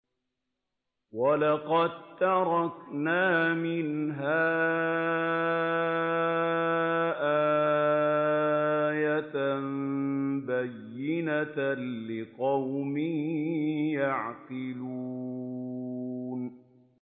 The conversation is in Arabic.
وَلَقَد تَّرَكْنَا مِنْهَا آيَةً بَيِّنَةً لِّقَوْمٍ يَعْقِلُونَ